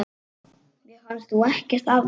Mér fannst þú ekkert afleit!